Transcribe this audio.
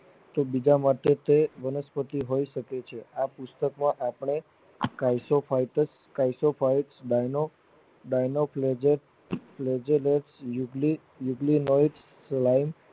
કે બીજા માટે તે વનસ્પતિ હોય શકે છે આ પુસ્તક માં આપણે ખસ્યાંપ હોય કે ખસાયપ ભય લોગ Dino Klozek યુકેલિડ લાઈવ